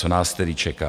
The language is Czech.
Co nás tedy čeká?